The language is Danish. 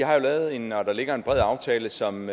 har jo lavet en bred aftale som